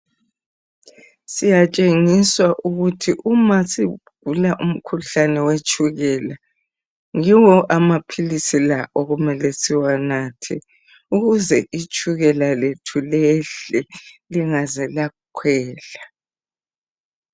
Siyatshengiswa ukuthi uma sigula umkhuhlane wetshukela yiwo amapilisi la okumele siwanathe ukuze itshukela lethu lehle lingaze lakhwela.